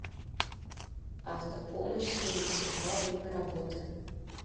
автопомощь семьдесят два время работы